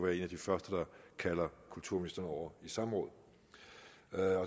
en af de første der kalder kulturministeren over i samråd